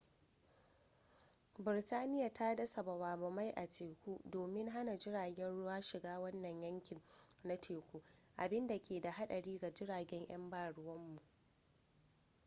birtaniya ta dasa bama bamai a teku domin hana jiragen ruwa shiga wannan yanki na teku abinda ke da hadari ga jiragen yan baruwanmu